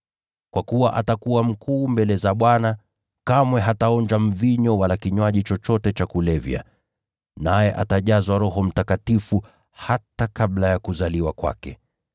Kwa kuwa atakuwa mkuu mbele za Bwana, kamwe hataonja mvinyo wala kinywaji chochote cha kulevya, naye atajazwa Roho Mtakatifu hata kabla ya kuzaliwa kwake.